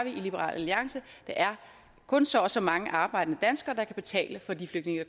i liberal alliance der er kun så og så mange arbejdende danskere der kan betale for de flygtninge